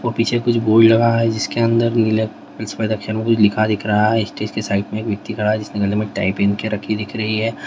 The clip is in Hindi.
और पीछे कुछ बोर्ड लगा है जिसके अंदर नीले कुछ लिखा दिख रहा है जिसने गले में टाई पहन के रखी दिख रही है।